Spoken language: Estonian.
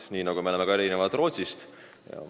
Samamoodi me erineme ka näiteks Rootsist.